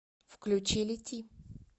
включи лети